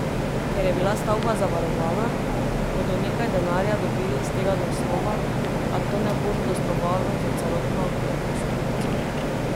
Ker je bila stavba zavarovana, bodo nekaj denarja dobili iz tega naslova, a to ne bo zadostovalo za celotno rekonstrukcijo.